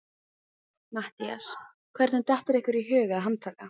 MATTHÍAS: Hvernig dettur ykkur í hug að handtaka